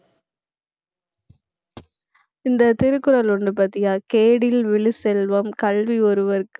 இந்த திருக்குறள் ஒண்ணு பாத்தியா, கேடில் விழு செல்வம் கல்வி ஒருவற்கு